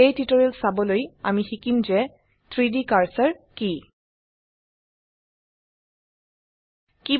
এই টিউটোৰিয়েল চাবলৈ আমি শিকিম যে 3ডি কাৰ্সাৰ কি160